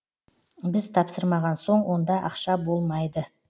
біз тапсырмағансоң онда ақша да болмайды